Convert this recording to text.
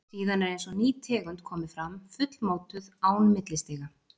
Síðan er eins og ný tegund komi fram, fullmótuð, án millistiga.